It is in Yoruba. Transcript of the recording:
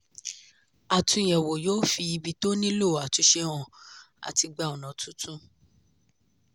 àtúnyẹ̀wò yóò fi ibi tó nílò àtúnṣe hàn àti gba ònà tuntun.